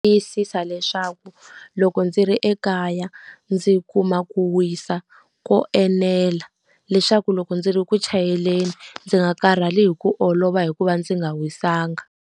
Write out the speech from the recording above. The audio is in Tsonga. Tiyisisa leswaku loko ndzi ri ekaya ndzi kuma ku wisa ko enela. Leswaku loko ndzi ri ku chayeleni, ndzi nga karhali hi ku olova hi ku va ndzi nga wisanga.